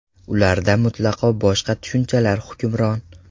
Ularda mutlaqo boshqa tushunchalar hukmron.